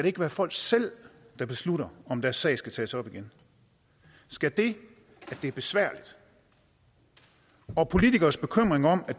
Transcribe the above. ikke være folk selv der beslutter om deres sag skal tages op igen skal det at det er besværligt og politikeres bekymring om at